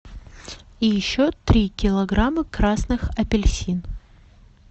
и еще три килограмма красных апельсин